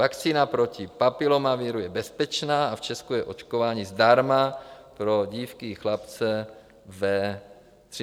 Vakcína proti papilomaviru je bezpečná a v Česku je očkování zdarma pro dívky i chlapce ve 13 letech.